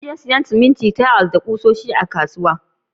Zan je siyan yashi, siminti, tayal, gilashi, kusoshi da fenti daga kasuwan.